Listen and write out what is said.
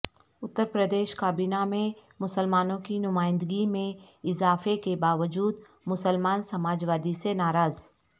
اترپردیش کابینہ میں مسلمانوں کی نمائندگی میں اضافہ کے باوجود مسلمان سماجوادی سے ناراض